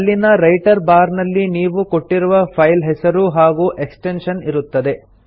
ಅಲ್ಲಿನ title bar ನಲ್ಲಿ ನೀವು ಕೊಟ್ಟಿರುವ ಫೈಲ್ ಹೆಸರು ಹಾಗೂ ಎಕ್ಸ್ಟೆನ್ಶನ್ ಇರುತ್ತದೆ